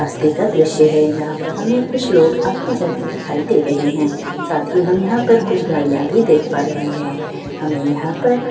रास्ते का दृश्य है जहाँ पर हमें कुछ लोग आते जाते दिखाई दे रहे हैं साथ ही हम यहाँ पर कुछ गाड़ियां भी देख पा रहे हैं हमें यहाँ पर--